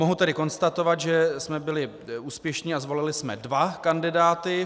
Mohu tedy konstatovat, že jsme byli úspěšní a zvolili jsme dva kandidáty.